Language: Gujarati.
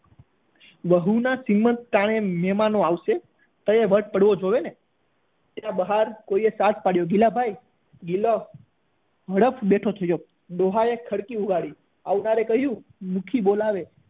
વહુ ના શ્રીમંત ટાણે મહેમાનો આવશે ત્યાં વટ પડવો જોઈએ ને એના બહાર કોઈ સાત પડ્યો ગિલા ભાઈ ગિલો ઝડપ બેઠો થયો ડોહા એ ખડકી ઉપાડી આવનારે કહ્યું મુખ્ય બોલાવે